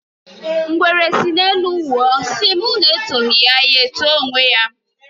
Ngwere sị n'elu wụọ sị ma unu etọghi ya, ya eto onwe ya.